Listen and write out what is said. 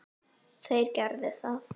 Þeir gerðu það.